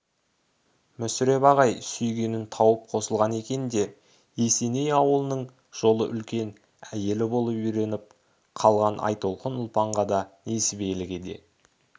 мүсіреп ағай сүйгенін тауып қосылған екен де есеней ауылының жолы үлкен әйелі болып үйреніп қалған айтолқын ұлпанға да несібеліге де